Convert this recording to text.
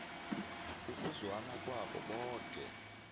ukuzwana kwabo boke